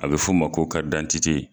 A be f'o ma ko karidantite